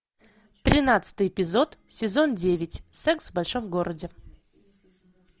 тринадцатый эпизод сезон девять секс в большом городе